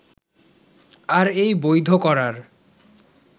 আর এই বৈধ করার